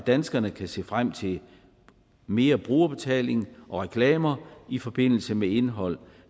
danskerne kan se frem til mere brugerbetaling og reklamer i forbindelse med indhold